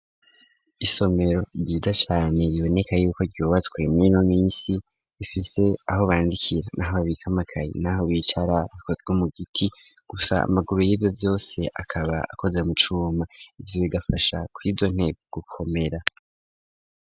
Isomero ryiza cane biboneka yuko ryubatswe murino minsi, rifise aho bandikira, naho babika amakayi, naho bicara, bikozwe mu giti, gusa amaguru yivyo vyose akaba akoze mu cuma, ivyo bigafasha kwizo ntebe gukomera.